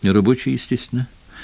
нерабочий естественно